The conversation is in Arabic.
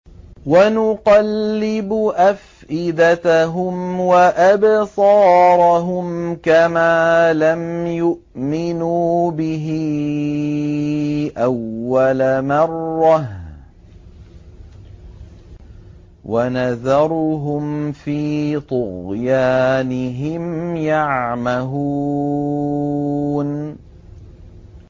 وَنُقَلِّبُ أَفْئِدَتَهُمْ وَأَبْصَارَهُمْ كَمَا لَمْ يُؤْمِنُوا بِهِ أَوَّلَ مَرَّةٍ وَنَذَرُهُمْ فِي طُغْيَانِهِمْ يَعْمَهُونَ